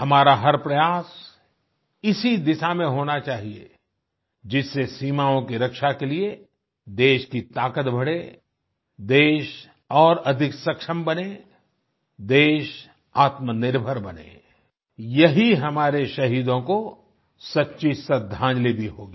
हमारा हर प्रयास इसी दिशा में होना चाहिए जिससे सीमाओं की रक्षा के लिए देश की ताकत बढ़े देश और अधिक सक्षम बने देश आत्मनिर्भर बने यही हमारे शहीदों को सच्ची श्रद्धांजलि भी होगी